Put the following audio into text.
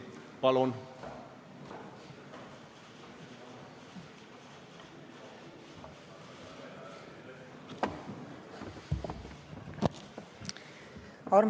Palun!